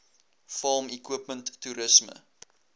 farm equipment toerisme